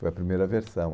Foi a primeira versão.